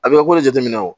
A bɛ kolo jateminɛ o